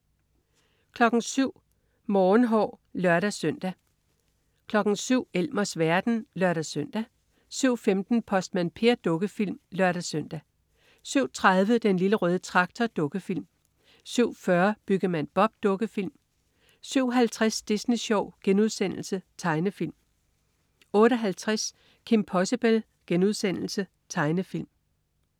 07.00 Morgenhår (lør-søn) 07.00 Elmers verden (lør-søn) 07.15 Postmand Per. Dukkefilm (lør-søn) 07.30 Den Lille Røde Traktor. Dukkefilm 07.40 Byggemand Bob. Dukkefilm 07.50 Disney Sjov.* Tegnefilm 08.50 Kim Possible.* Tegnefilm